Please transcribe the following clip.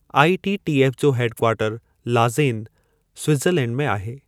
ITTF जो head quarter Lausanne, Switzerland में आहे।